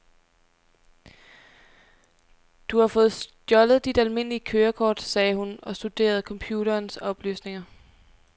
Du har fået stjålet dit almindelige kørekort, sagde hun og studerede computerens oplysninger.